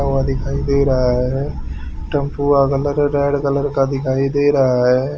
दिखाई दे रहा है टेंपू का कलर रेड कलर का दिखाई दे रहा है।